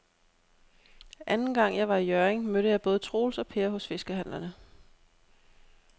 Anden gang jeg var i Hjørring, mødte jeg både Troels og Per hos fiskehandlerne.